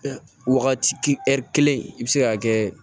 Wagati ɛri kelen i bɛ se ka kɛ